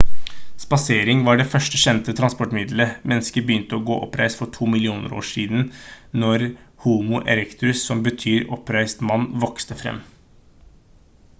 spasering var det første kjente transportmiddelet. mennesker begynte å gå oppreist for 2 millioner år siden når homo erectus som betyr oppreist mann vokste frem